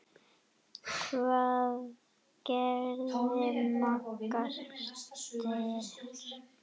Hvað gerði Magga systir?